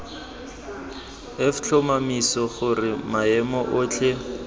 f tlhomamisa gore maemo otlhe